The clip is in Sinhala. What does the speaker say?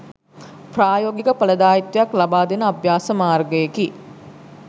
ප්‍රායෝගික ඵලදායිත්වයක් ලබා දෙන අභ්‍යාස මාර්ගයෙකි.